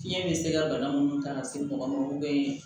Fiɲɛ bɛ se ka bana mun ta ka se mɔgɔ ma